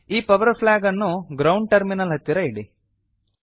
ಈ power flag ಅನ್ನು ground terminal ಹತ್ತಿರ ಇಡಿ